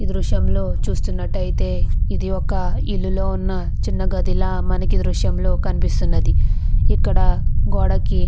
ఈ దృశ్యం లో చుస్తునాలైతే ఇది ఒక ఇల్లు లో ఉన్న చిన్న గది ల మనకి ఈ దృశ్యం లో కనిపిస్తున్నది ఇక్కడ గోడకి --